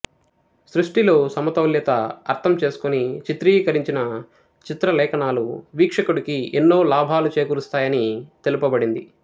సృష్టి లో సమతౌల్యత అర్థం చేసుకొని చిత్రీకరించిన చిత్రలేఖనాలు వీక్షకుడికి ఎన్నో లాభాలు చేకూరుస్తాయి అని తెలుపబడింది